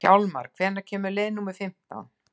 Hjálmar, hvenær kemur leið númer fimmtán?